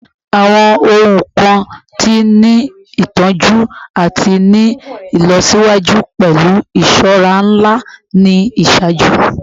Awọn ohun kan ti ni itọju ati ni ilọsiwaju pẹlu iṣọra nla ni iṣaaju